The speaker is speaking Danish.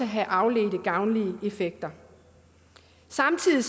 have afledte gavnlige effekter samtidig